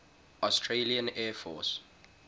australian air force